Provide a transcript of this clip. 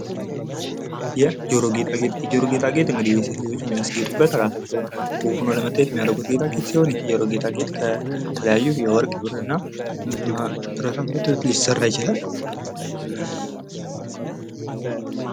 የጀሮ ጌጣጌጥ የጀሮ ጌጣ ጌጥ እንግዲህ የሴቶች ልጆች የሚያስጌጡበት እራሳቸውን ውብ ሁነው ለመታዬት የሚያደርጉት ጌጣ ጌጥ ሲሆን ይህ የጀሮ ጌጣ ጌጥ ከተለያዩ የወርቅ ብርና ብረታ ብረቶች ሊሰራ ይችላል።